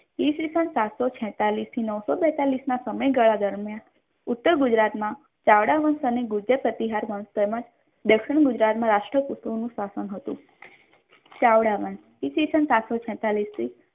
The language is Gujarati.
ઈસવીસન સાતસો છેતાલીસ થી નવસો બેતાલીશ ના સમયગાળા દરમિયાન ઉત્તર ગુજરાતમાં ચાવડા વંશ અને ગુર્જર પ્રતિહાર મહોત્સવમાં દક્ષિણ ગુજરાતના રાષ્ટ્ર કૂતોનું શાસન હતું ચાવડા વંશ ઈસવીસન સાતસો છેતાલીશ થી